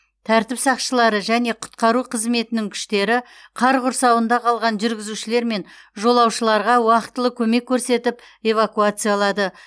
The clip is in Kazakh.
тәртіп сақшылары және құтқару қызметінің күштері қар құрсауында қалған жүргізушілер мен жолаушыларға уақтылы көмек көрсетіп эвакуациялады